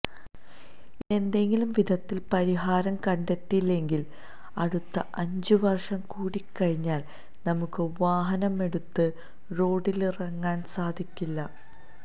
ഇതിനേതെങ്കിലും വിധത്തില് പരിഹാരം കണ്ടെത്തിയില്ലെങ്കില് അടുത്ത അഞ്ച് വര്ഷം കൂടിക്കഴിഞ്ഞാല് നമുക്ക് വാഹനമെടുത്ത് റോഡിലിറങ്ങാന് സാധിക്കില്ല